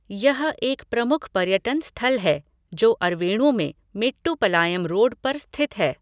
यह एक प्रमुख पर्यटन स्थल है, जो अरवेणु में मेट्टुपलायम रोड पर स्थित है।